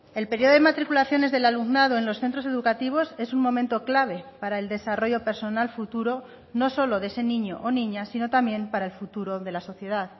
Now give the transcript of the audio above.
el periodo de matriculaciones del alumnado en los centros educativos es un momento clave para el desarrollo personal futuro no solo de ese niño o niña sino también para el futuro de la sociedad